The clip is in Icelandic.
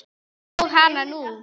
Og hana nú!